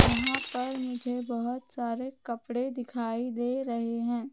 यहां पर मुझे बहोत सारे कपड़े दिखाई दे रहे हैं।